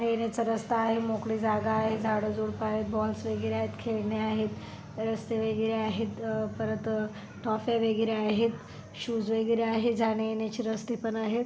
एक जाण्या येण्याचे रस्ता आहे मोकळी जागा आहे झाड झुडपं आहेत बॉल स वगैरे आहेत खेळने आहेत रस्ते वगैरे आहेत परत ट्रॉफया वगैरे आहेत शूज वगैरे आहेत जाण्या येण्याचे रस्ता पण आहेत.